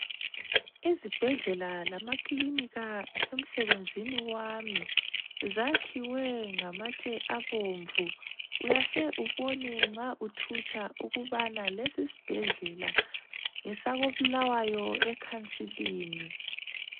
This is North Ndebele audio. Izibhedlela lamakilinika emsebenzini wami zakhiwe ngamatshe abomvu uyahle ubone nxa uthutsha ukubana lesi isibhedlela ngesako Bulawayo ekhansilini.